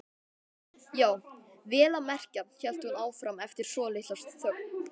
Já, vel að merkja, hélt hún áfram eftir svolitla þögn.